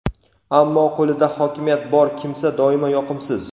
ammo qo‘lida hokimiyat bor kimsa doimo yoqimsiz.